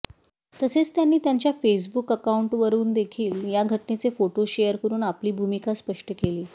तसेच त्यांनी त्यांच्या फेसबुक अकाउंटवरूनदेखील या घटनेचे फोटो शेयर करून आपली भूमिका स्पष्ट केली